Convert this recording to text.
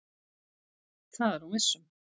Það er hún viss um.